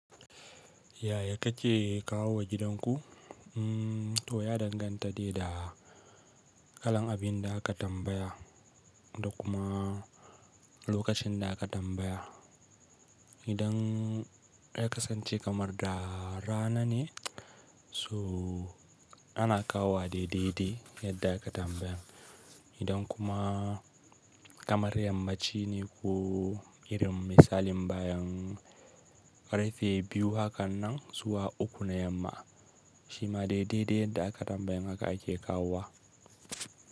Yaya kake kawo wa gidanku? O ya danganta da kalan abin da aka tambaya da kuma lokacin da aka tambaya. Idan ya kasance kamar da rana ne so ana kawo wa daidai yadda ka tambaya. Idan kuma kamar yamma ci ne ku irin misalin bayan karfe biyu hakan nan zuwa uku na yamma, shi ma daidai da aka tambaya haka ake kawo wa.